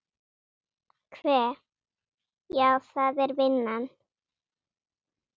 Hve. já, það er vinnan.